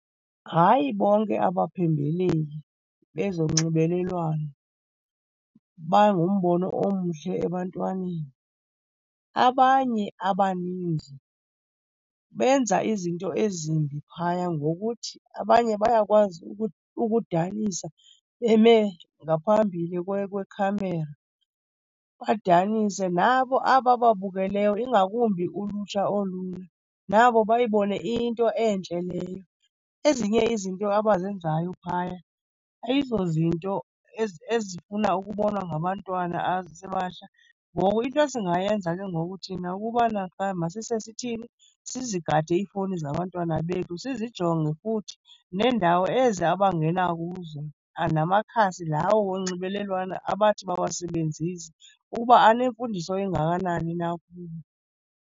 Hayi bonke abaphembeleli bezonxibelelwano bangumbono omhle ebantwaneni. Abanye abaninzi benza izinto ezimbi phaya ngokuthi abanye bayakwazi ukudanisa beme ngaphambili kwekhamera, badanise. Nabo abo babukeleyo, ingakumbi ulutsha oluya, nabo bayibone iyinto entle leyo. Ezinye izinto abazenzayo phaya ayizozinto ezifuna ukubonwa ngabantwana abasebatsha. Ngoku into esingayenza ke ngoku thina ukubana qha masise sithini, sizigade iifowuni zabantwana bethu, sizijonge futhi neendawo ezi abangena kuzo, namakhasi lawo onxibelelwano abathi bawasebenzise ukuba anemfundiso engakanani na kubo.